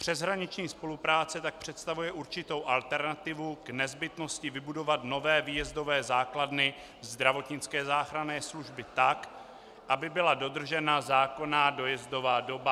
Přeshraniční spolupráce tak představuje určitou alternativu k nezbytnosti vybudovat nové výjezdové základny zdravotnické záchranné služby tak, aby byla dodržena zákonná dojezdová doba.